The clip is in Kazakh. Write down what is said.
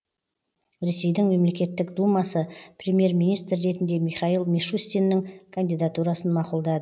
ресейдің мемлекеттік думасы премьер министр ретінде михаил мишустиннің кандидатурасын мақұлдады